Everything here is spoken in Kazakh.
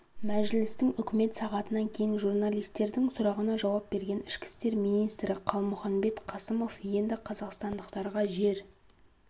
мәжілістің үкімет сағатынан кейін журналистердің сұрағына жауап берген ішкі істер министрі қалмұханбет қасымов енді қазақстандықтарға жер